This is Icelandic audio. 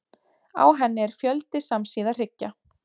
Á henni er fjöldi samsíða hryggja.